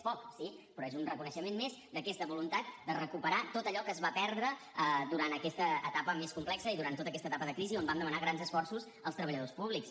és poc sí però és un reconeixement més d’aquesta voluntat de recuperar tot allò que es va perdre durant aquesta etapa més complexa i durant tota aquesta etapa de crisi on vam demanar grans esforços als treballadors públics